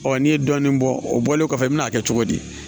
Ɔ n'i ye dɔɔnin bɔ o bɔlen kɔfɛ i bɛ n'a kɛ cogo di